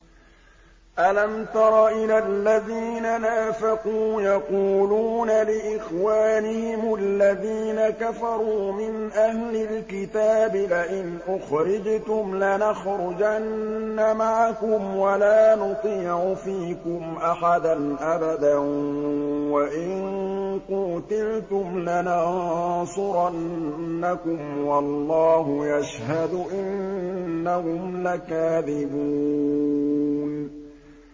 ۞ أَلَمْ تَرَ إِلَى الَّذِينَ نَافَقُوا يَقُولُونَ لِإِخْوَانِهِمُ الَّذِينَ كَفَرُوا مِنْ أَهْلِ الْكِتَابِ لَئِنْ أُخْرِجْتُمْ لَنَخْرُجَنَّ مَعَكُمْ وَلَا نُطِيعُ فِيكُمْ أَحَدًا أَبَدًا وَإِن قُوتِلْتُمْ لَنَنصُرَنَّكُمْ وَاللَّهُ يَشْهَدُ إِنَّهُمْ لَكَاذِبُونَ